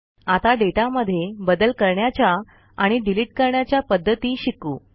आता डेटामध्ये बदल करण्याच्या आणि डिलिट करण्याच्या पध्दती शिकू